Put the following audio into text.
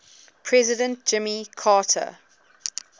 president jimmy carter